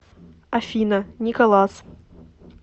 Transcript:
афина николас